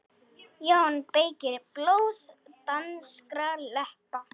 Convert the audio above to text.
JÓN BEYKIR: Blóð danskra leppa!